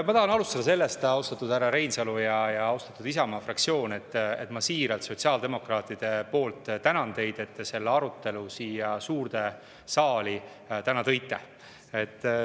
Ma tahan alustada sellest, austatud härra Reinsalu ja austatud Isamaa fraktsioon, et ma siiralt sotsiaaldemokraatide poolt tänan teid, et te selle arutelu siia suurde saali täna tõite.